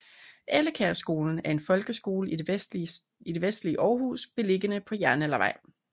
Ellekærskolen er en folkeskole i det vestlige Århus beliggende på Jernaldervej